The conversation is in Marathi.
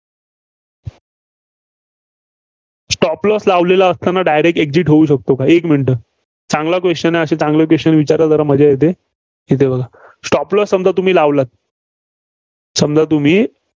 stop loss लावलेला असताना direct exit होऊ शकतो. एक minute चांगला question आहे. असे चांगले question विचारा जरा मजा येते. येथे बघा. stop loss तुम्ही लावला समजा तुम्ही.